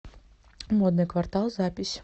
модный квартал запись